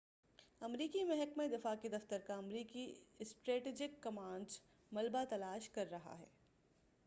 امریکی محکمہ دفاع کے دفتر کا امریکی اسٹریٹجک کمانڈ ملبہ تلاش کر رہا ہے